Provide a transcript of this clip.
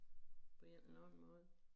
På en eller anden måde